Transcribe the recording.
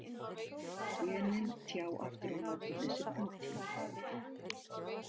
Genin tjá aftur á móti þessi prótín.